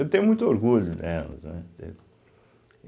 Eu tenho muito orgulho delas, né? entende